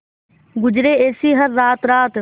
गुजरे ऐसी हर रात रात